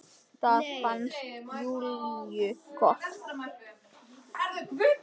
Það fannst Júlíu gott.